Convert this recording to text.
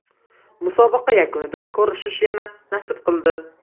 Musobaqa yakunida ko‘rishish yana nasib qildi.